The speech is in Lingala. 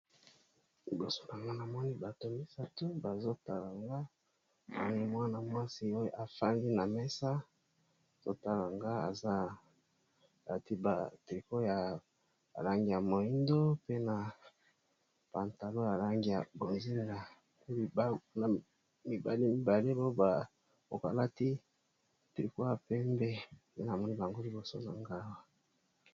Kasi awa na moni bato misato bazotalanga moni mwana mwasi oyo efangi na mesa azotalanga eza lati ba trico ya elangi ya moindo pe na pantalo ya langi ya bozila pe namibale mibale poy bakokalaki triko ya pembe pe na moni bango liboso za nga awa.